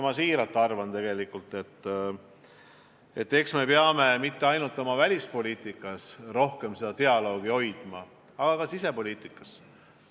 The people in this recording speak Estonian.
Ma siiralt arvan, et me ei pea mitte ainult oma välispoliitikas rohkem dialoogi hoidma, vaid ka sisepoliitikas.